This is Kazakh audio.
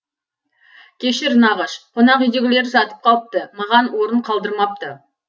кешір нағыш қонақүйдегілер жатып қалыпты маған орын қалдырмапты